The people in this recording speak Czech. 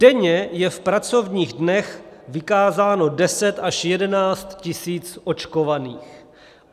Denně je v pracovních dnech vykázáno 10 až 11 000 očkovaných.